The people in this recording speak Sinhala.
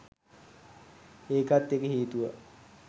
ඒකත් එක හේතුවක්